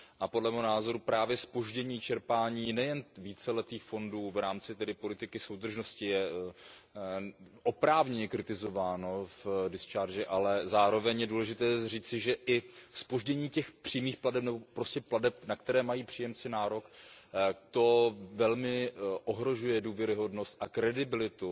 Podle mého názoru právě zpoždění čerpání nejen víceletých fondů v rámci politiky soudržnosti je oprávněně kritizováno v absolutoriu, ale zároveň je důležité říci, že i zpoždění přímých plateb nebo prostě plateb, na které mají příjemci nárok, velmi ohrožuje důvěryhodnost a kredibilitu